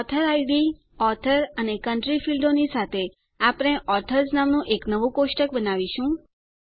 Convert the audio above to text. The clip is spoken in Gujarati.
ઓથોરિડ ઓથોર અને કન્ટ્રી ફીલ્ડોની સાથે આપણે ઓથર્સ નામનું એક નવું કોષ્ટક બનાવીશું